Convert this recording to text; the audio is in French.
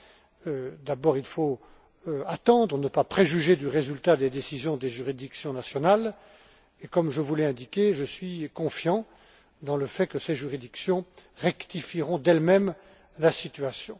Tout d'abord, il faut attendre, ne pas préjuger du résultat des décisions des juridictions nationales et, comme je vous l'ai indiqué, je suis confiant dans le fait que ces juridictions rectifieront d'elles mêmes la situation.